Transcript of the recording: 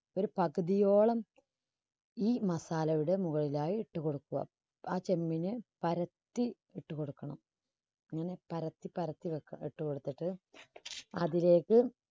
ഒരു പകുതിയോളം ഈ masala യുടെ മുകളിലായി ഇട്ട് കൊടുക്കുക. ആ ചെമ്പിന് പരത്തി ഇട്ട് കൊടുക്കണം. ഇങ്ങനെ പരത്തി പരത്തി ഇട്ട് കൊടുത്തിട്ട് അതിലേക്ക്